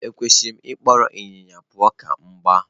Ekwesịrị m ịkpọrọ ịnyịnya pụọ ​​ka m gbaa?